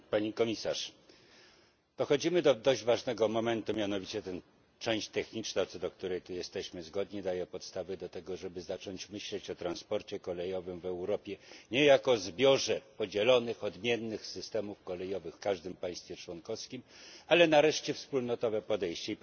Pani Komisarz! Dochodzimy do dość ważnego momentu, mianowicie część techniczna, co do której tu jesteśmy zgodni, daje podstawy do tego, żeby zacząć myśleć o transporcie kolejowym w Europie nie jako o zbiorze podzielonych odmiennych systemów kolejowych w każdym państwie członkowskim, ale nareszcie jak o wspólnotowym podejściu.